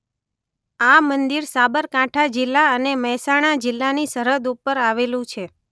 આ મંદિર સાબરકાંઠા જિલ્લા અને મહેસાણા જિલ્લાની સરહદ ઉપર આવેલું છે.